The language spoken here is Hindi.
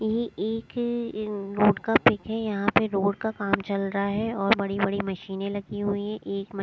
ये एक रोड का पिक है यहां पे रोड का काम चल रहा है और बड़ी-बड़ी मशीनें लगी हुई है।